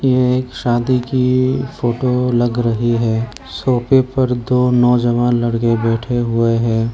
ये एक शादी की फोटो लग रही है सोफे पर दो नोजवान लड़के बैठे हुए हैं।